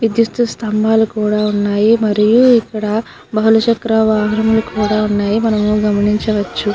విద్యుత్తు స్తంభాలు కూడా ఉన్నాయి. మరియు ఇక్కడ భానుచక్ర వాహనం కూడా ఉన్నాయి మనము గమనించవచ్చు.